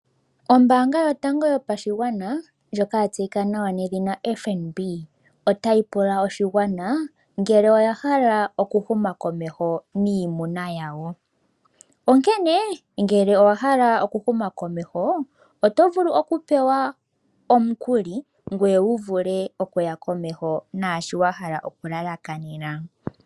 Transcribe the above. Ombaanga yotango yopashigwana ndjoka yatseyika nawa nedhina FNB otayi pula oshigwana ngele oya hala okuhuma komeho niimuna yawo, onkene ngele owahala okuhuma komeho oto vulu okupewa omukuli ngoye wuvule okuya komeho naashi wahala okulalakanena.